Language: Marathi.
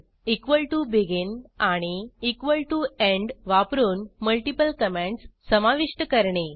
begin आणि end वापरून मल्टिपल कॉमेंटस समाविष्ट करणे